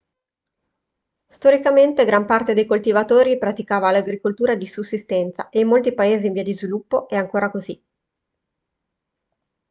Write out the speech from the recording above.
storicamente gran parte dei coltivatori praticava l'agricoltura di sussistenza e in molti paesi in via di sviluppo è ancora così